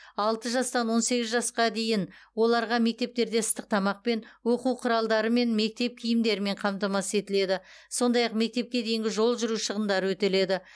алты жастан он сегіз жасқа дейін оларға мектептерде ыстық тамақпен оқу құралдары мен мектеп киімдерімен қамтамасыз етіледі сондай ақ мектепке дейінгі жол жүру шығындары өтеледі